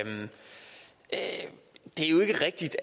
jo ikke rigtigt